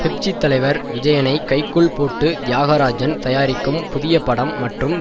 Pepsi தலைவர் விஜயனை கைக்குள் போட்டு தியாகராஜன் தயாரிக்கும் புதியபடம் மற்றும்